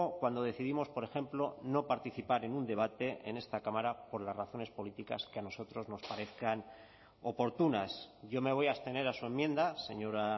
cuando decidimos por ejemplo no participar en un debate en esta cámara por las razones políticas que a nosotros nos parezcan oportunas yo me voy a abstener a su enmienda señora